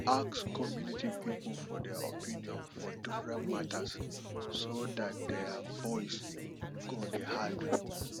ask community pipo for their opinion for different matters so dat their voice go dey heard